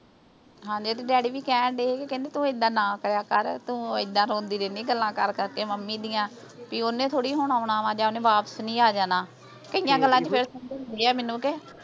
ਹਾਂ ਦੀਦੀ ਡੈਡੀ ਵੀ ਕਹਿਣ ਡਏ ਸੀ ਤੂੰ ਨਾ ਐਦਾਂ ਕਰਿਆ ਕਰ ਤੂੰ ਐਦਾਂ ਰੋਂਦੀ ਰਹਿਣੀ ਤੂੰ ਗੱਲਾਂ ਕਰ ਕਰ ਕੇ ਮੰਮੀ ਦੀਆਂ ਬੀ ਓਹਨੇ ਥੋੜੀ ਹੁਣ ਆਉਣ ਵਾ ਜਾਂ ਓਹਨੇ ਵਾਪਿਸ ਨਹੀਂ ਆ ਜਾਣਾ ਕਈਆਂ ਗੱਲਾਂ ਚ ਫੇਰ ਸਮਝਾਉਂਦੇ ਆ ਮੈਨੂੰ ਕੇ